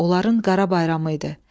Onların qara bayramı idi.